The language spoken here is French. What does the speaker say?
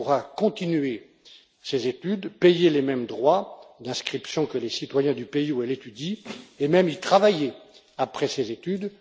Elle pourra continuer ses études, payer les mêmes droits d'inscription que les citoyens du pays où elle étudie et même y travailler après ses études.